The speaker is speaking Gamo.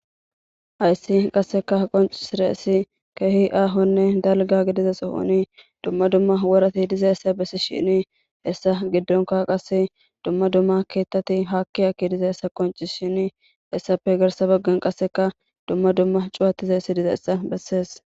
Ayssi qasseka qoncisireessi keehi aahonne dalga gidiza sohoni dumma dumma worati diza essa bessi shini hessa giddonka qasse dumma dumma keettati haakki akki diza hessa qoncishini hessappe garsa baggen qasseka dumma dumma cuwatizahessi dizaessa bessees.